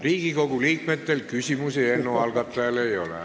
Riigikogu liikmetel eelnõu algatajale küsimusi ei ole.